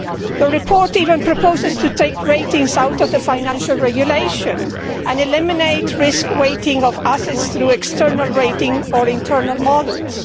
The report even proposes to take ratings out of the Financial Regulation and eliminate risk weighting of assets through external rating or internal models.